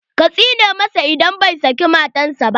Ka tsine masa in bai saki matan sa ba!